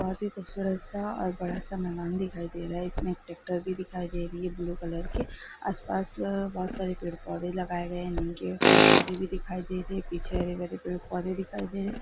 बहोत ही खूबसूरत-सा और बड़ा-सा मैदान दिखाई दे रहा है| इसमें ट्रैक्टर भी दिखाई दे रही है ब्लू कलर की | आसपास बहुत सारे पेड़-पौधे लगाए गए हैं नीम के पेड़-पौधे भी दिखाई दे रहे हैं पीछे हरे-भरे पेड़-पौधे दिखाई दे रहे हैं।